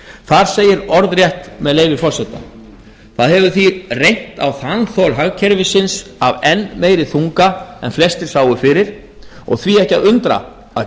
þar segir síðan orðrétt með leyfi forseta það hefur því reynt á þanþol hagkerfisins af enn meiri þunga en flestir sáu fyrir og því ekki að undra að